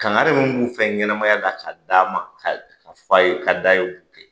Kangare minnu b'u fɛ ɲɛnɛmaya la k'a d'a ma, k'a f'a ye k'a d'a ye bi.